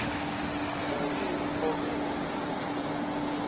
u ri hu thome u